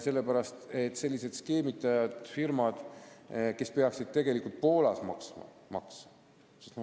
Sellepärast, et sellised skeemitavad firmad peaksid tegelikult Poolas maksma makse.